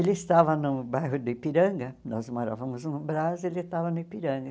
Ele estava no bairro do Ipiranga, nós morávamos no Brás, ele estava no Ipiranga.